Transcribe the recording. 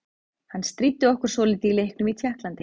Hann stríddi okkur svolítið í leiknum í Tékklandi.